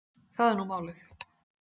Það er nú málið.